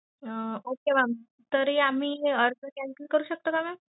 अह Okay mam तरी आम्ही हे आर्ज cancel करू शकतो का mam.